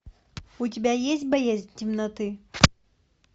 у тебя есть боязнь темноты